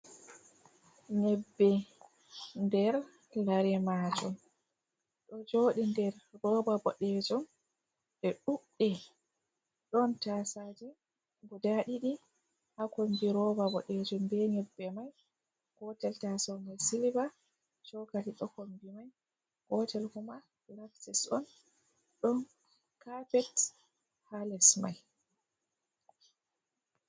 Nyebbe nder lare majum ɗo jodi nder roɓa bodejum ɗe ɗudɗe ɗon tasaji guda didi ha kombi roɓa bodejun be nyebbe mai gotel taso mai siliva bokati ɗo kombi mai gotel kuma pilastes on ɗon kapet ha les mai.